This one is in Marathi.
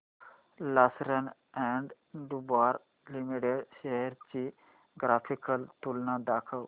लार्सन अँड टुर्बो लिमिटेड शेअर्स ची ग्राफिकल तुलना दाखव